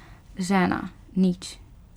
Žena: ''Nič.